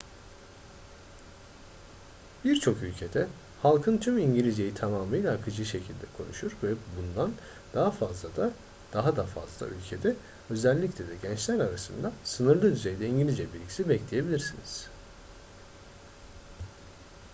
birçok ülkede halkın tümü i̇ngilizceyi tamamıyla akıcı şekilde konuşur ve bundan daha da fazla ülkede özellikle de gençler arasında sınırlı düzeyde i̇ngilizce bilgisi bekleyebilirsiniz